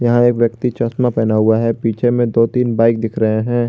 यहां एक व्यक्ति चश्मा पहना हुआ है पीछे में दो तीन बाइक दिख रहे हैं।